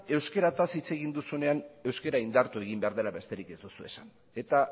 euskaraz hitz egin duzunean euskara indartu egin behar dela besterik ez duzu esan eta